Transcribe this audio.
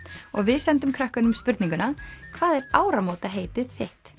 og við sendum krökkunum spurninguna hvað er áramótaheitið þitt